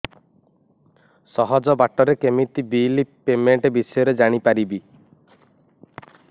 ସହଜ ବାଟ ରେ କେମିତି ବିଲ୍ ପେମେଣ୍ଟ ବିଷୟ ରେ ଜାଣି ପାରିବି